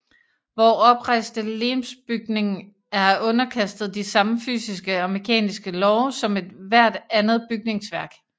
Vor oprejste legemsbygning er underkastet de samme fysiske og mekaniske love som ethvert andet bygningsværk